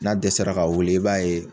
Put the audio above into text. N'a dɛsɛra ka wili i b'a ye